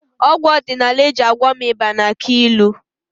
Ọgwụ ọdịnala Igbo e ji gwọọ m ịba na-akụ ilu